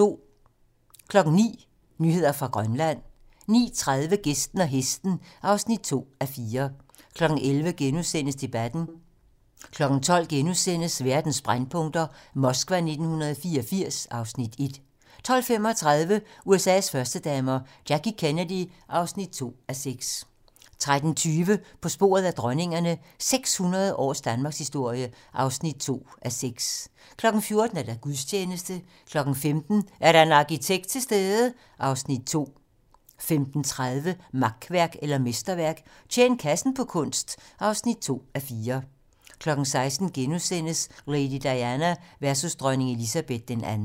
09:00: Nyheder fra Grønland 09:30: Gæsten og Hesten (2:4) 11:00: Debatten * 12:00: Verdens brændpunkter: Moskva 1984 (Afs. 1)* 12:35: USA's førstedamer - Jackie Kennedy (2:6) 13:20: På sporet af dronningerne - 600 års danmarkshistorie (2:6) 14:00: Gudstjeneste 15:00: Er der en arkitekt til stede? (Afs. 2) 15:30: Makværk eller mesterværk - Tjen kassen på kunst (2:4) 16:00: Lady Diana versus dronning Elizabeth II *